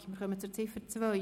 Wir kommen zu Ziffer 2.